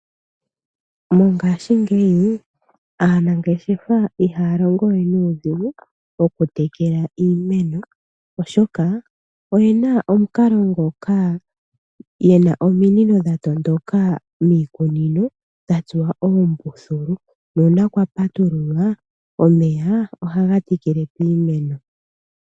Mongashingeyi aanangeshefa ihaya longo we nuudhigu okutekela iimeno. oshoka oyena omukalo ngoka yena ominino dha tondoka miikunino dha tsuwa oombuthulu, nuuna kwa patululwa omeya ohaga tekele piimeno.